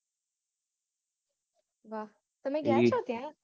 વાહ! તમે ગયા છો ત્યાં?